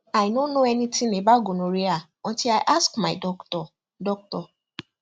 i no know anything about gonorrhea until i ask my doctor doctor